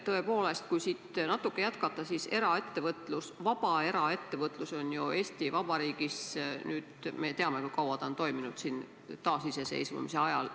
Tõepoolest, kui siit natuke jätkata, siis me ju teame, kui kaua on eraettevõtlus, vaba eraettevõtlus nüüdseks toiminud siin taasiseseisvumise ajal.